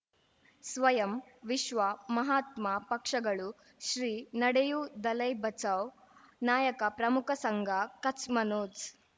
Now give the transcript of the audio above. ಸ್ವಯಂ ವಿಶ್ವ ಮಹಾತ್ಮ ಪಕ್ಷಗಳು ಶ್ರೀ ನಡೆಯೂ ದಲೈ ಬಚೌ ನಾಯಕ ಪ್ರಮುಖ ಸಂಘ ಕಚ್ ಮನೋಜ್